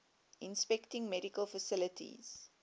inspecting medical facilities